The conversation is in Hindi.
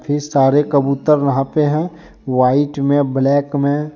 ये सारे कबूतर वहां पे हैं व्हाइट में ब्लैक में।